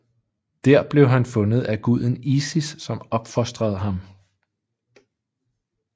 Der blev han fundet af guden Isis som opfostrede ham